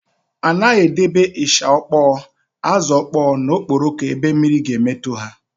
A naghị edebe ịsha ọkpọọ, ázụ̀ ọkpọọ na okporoko ebe mmiri ga-emetụ ha.